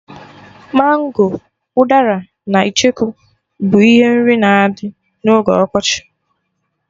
Mango, udara na icheku bụ ihe nri na-adị na oge ọkọchị